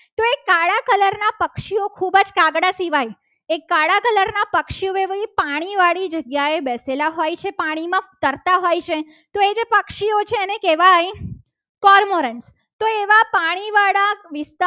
ખૂબ જ કાગડા સિવાય એક કાળા કલરના પક્ષીઓ એક પાણીવાળી જગ્યાએ જ્યારે બેસેલા હોય છે. પાણીમાં તરતા હોય છે તો એને પક્ષીઓને કહેવાય કરમુંડર તો એવા પાણીવાળા વિસ્તારમાં